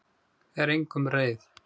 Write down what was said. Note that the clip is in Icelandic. Er engum reið.